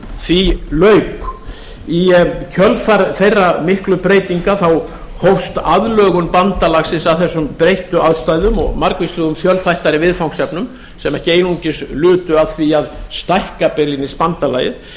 því lauk í kjölfar þeirra miklu breytinga hófst aðlögun bandalagsins að þessum breyttu aðstæðum og margvíslegum fjölþættari viðfangsefnum sem ekki einungis lutu að því að stækka einungis bandalagið